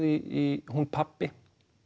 í hún pabbi